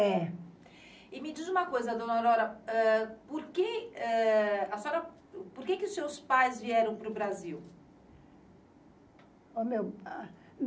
É. Me diz uma coisa, dona Aurora, ah, eh, por que os seus pais vieram para o Brasil? O meu